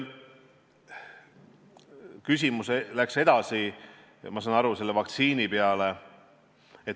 Küsimus läks edasi, ma sain aru, vaktsiini peale.